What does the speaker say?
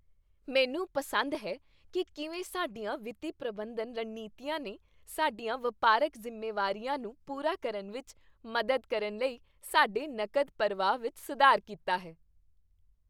ਮੈਨੂੰ ਪਸੰਦ ਹੈ ਕਿ ਕਿਵੇਂ ਸਾਡੀਆਂ ਵਿੱਤੀ ਪ੍ਰਬੰਧਨ ਰਣਨੀਤੀਆਂ ਨੇ ਸਾਡੀਆਂ ਵਪਾਰਕ ਜ਼ਿੰਮੇਵਾਰੀਆਂ ਨੂੰ ਪੂਰਾ ਕਰਨ ਵਿੱਚ ਮਦਦ ਕਰਨ ਲਈ ਸਾਡੇ ਨਕਦ ਪ੍ਰਵਾਹ ਵਿੱਚ ਸੁਧਾਰ ਕੀਤਾ ਹੈ।